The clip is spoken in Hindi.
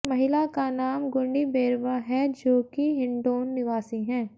महिला का नाम गुड्डी बेैरवा हैं जो कि हिंडौन निवासी है